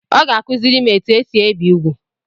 Ọ ga-akuziri m etu esi ebi úgwù.